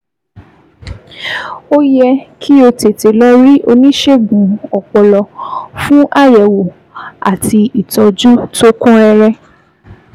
Ó yẹ kí o tètè lọ rí oníṣègùn ọpọlọ fún àyẹ̀wò àti ìtọ́jú tó kún rẹ́rẹ́